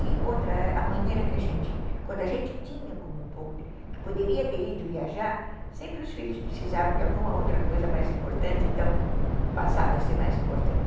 E outra, a maneira que a gente, quando a gente tinha um pouco, que poderia ter ido viajar, sempre os filhos precisavam de alguma outra coisa mais importante, então passava a ser mais importante.